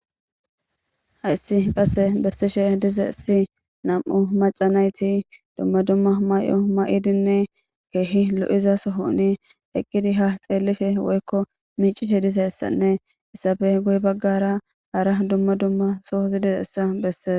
Hayssi qasse bessishe dize si nam7u macanayti dumma dumma may7o may7idinne keehi lo7iza sohouni eqqidi ha xeellife woykko miicite dize essanne issafe guye baggara ara dumma dumma sohozi dize essa besses.